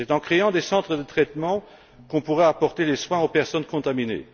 C'est en créant des centres de traitement qu'on pourra apporter des soins aux personnes contaminées.